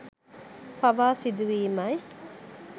පවා සිදුවීමයි